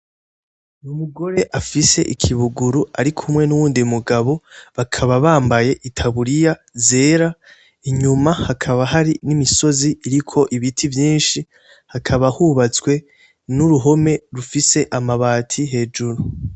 Umugore afise ikibuguru arikumwe n'uwundi mugabo bakaba bambaye itaburiya zera, inyuma hakaba hari n'imisozi iriko ibiti vyinshi, hakaba hubatswe n'uruhome rufise amabati hejuru.